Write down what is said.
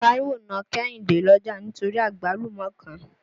Táíwò na Kẹ́hìndé lọ́jà nítorí àgbálùmọ́ kan.